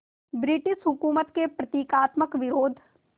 British हुकूमत के प्रतीकात्मक विरोध